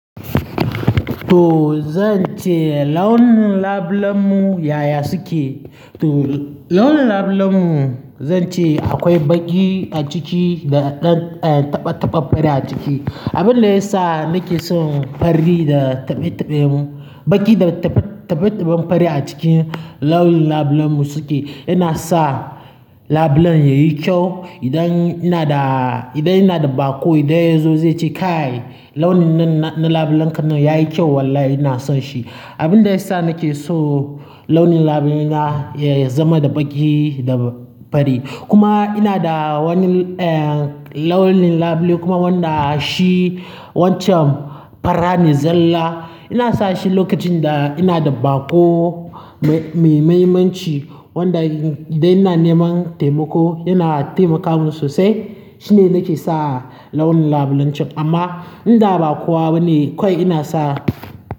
To zan ce launin labulen mu yaya suke, to launin labulen mu zan ce akwai baƙi a ciki da ɗan eh taɓa-taɓan fari a ciki. Abin da ya sa nake son fari da taɓe-taɓe mu, baƙi da taɓe-taɓen fari a cikin launin labulen mu suke yana sa labulen yayi kyau. Idan ina da, idan ina da baƙo idan ya zo zai ce "Kai launin na-na labulen ka nan yayi kyau vallahi ina son shi." Abin da ya sa nake so launin labule na ya zama da baƙi da fari. Kuma ina da wani eh launin labule kuma wanda shi wancan fara ne zalla. Ina sashi lokacin da ina da bako mai mafimanci wanda idan ina neman taimako yana taimaka min sosai shine nake sa launin labulen can amma in da baƙowa bane kawai ina sa.